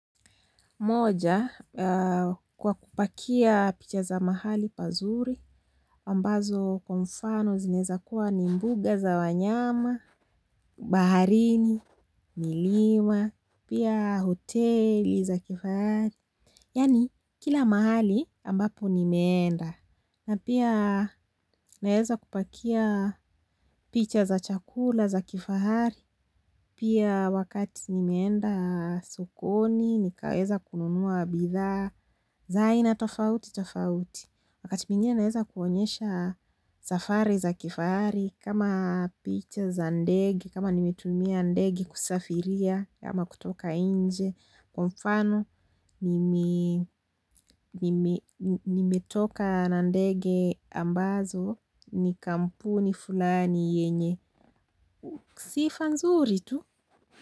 Moja kwa kupakia picha za mahali pazuri, ambazo kwa mfano zinaezakuwa ni mbuga za wanyama, baharini, milima, pia hoteli za kifahari. Yaani kila mahali ambapo nimeenda na pia naeza kupakia picha za chakula za kifahari pia wakati nimeenda sokoni nikaweza kununua bidhaa za aina tofauti tofauti. Wakati mwingine naeza kuonyesha safari za kifahari kama picha za ndege kama nimetumia ndege kusafiria ama kutoka nje kwa mfano nimetoka na ndege ambazo ni kampuni fulani yenye sifa nzuri tu.